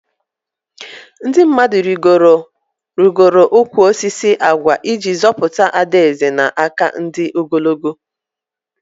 Ndị mmadụ rigoro ụkwụ osisi agwa iji zọpụta Ada Eze na aka ndị ogologo